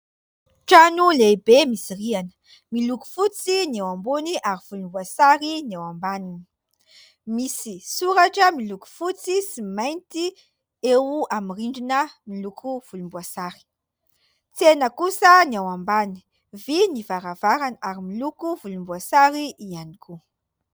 Trano lehibe misy rihana, miloko fotsy ny ao ambony ary volomboasary ny ao ambaniny, misy soratra miloko fotsy sy mainty eo amin'ny rindrina miloko volomboasary, tsena kosa ny ao ambany, vy ny varavarana ary miloko volomboasary ihany koa.